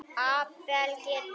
Abel getur þýtt